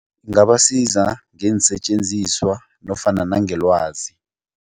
Ingabasiza ngeensetjenziswa nofana nangelwazi.